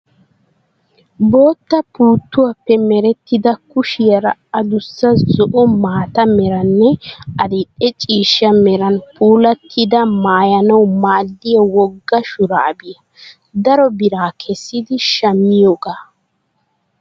Bootta puuttiwaappe merettida kushiyaara adussa zo"o maata meranne adil"e ciishsha meran puulattida maayyanawu maaddiya wogga shuraabiyaa. Daro bira kessidi shammiyoogaa.